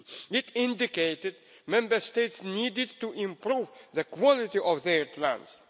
It indicated that Member States needed to improve the quality of their plans.